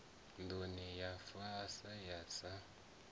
nduni ya fa a sa